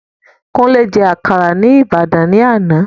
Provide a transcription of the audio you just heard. Kúnlé je àkàrà ni Ibadan ni ana